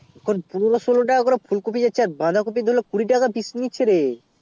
পুনোরো ষোল্ল টাকা করে যাচ্ছে রে আর বাধা কোপি ধরলে কুড়ি টাকা পিস নিচ্ছে রে